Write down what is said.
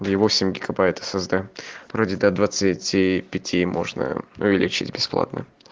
да восемь гигобайт сд вроде до двадцати пяти можно увеличить бесплатно